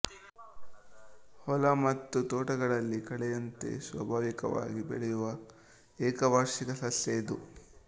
ಹೊಲ ಮತ್ತು ತೋಟಗಳಲ್ಲಿ ಕಳೆಯಂತೆ ಸ್ವಾಭಾವಿಕವಾಗಿ ಬೆಳೆಯುವ ಏಕವಾರ್ಷಿಕ ಸಸ್ಯ ಇದು